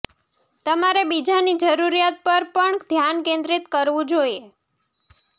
તમારે બીજાની જરૂરિયાત પર પણ ધ્યાન કેન્દ્રિત કરવું જોઈએ